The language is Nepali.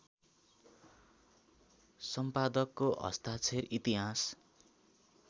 सम्पादकको हस्ताक्षर इतिहास